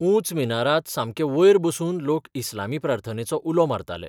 ऊंच मिनारांत सामकें वयर बसून लोक इस्लामी प्रार्थनेचो उलो मारताले.